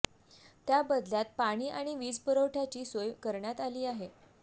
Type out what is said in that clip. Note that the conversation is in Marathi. त्या बदल्यात पाणी आणि वीजपुरवठ्याची सोय करण्यात आली आहे